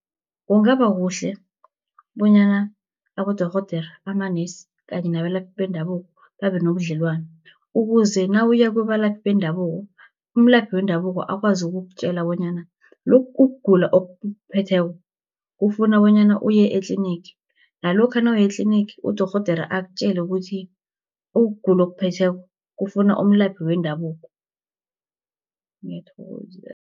Kungaba kuhle bonyana abodorhodere, amanesi, kanye nabalaphi bendabuko babe nobudlelwano, ukuze nawuya kubalaphi bendabuko, umlaphi wendabuko akwazi ukukutjela bonyana lokhu ukugula okukuphetheko kufuna bonyana uye etlinigi. Nalokha nawuye etlinigi, udorhodere akutjele ukuthi ukugula okukuphetheko kufuna umlaphi wendabuko